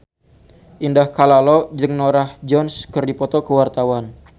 Indah Kalalo jeung Norah Jones keur dipoto ku wartawan